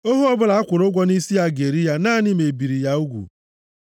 Ohu ọbụla a kwụrụ ụgwọ nʼisi ya ga-eri ya naanị ma e biri ya ugwu.